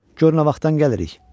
Corc nə vaxtdan gəlirik?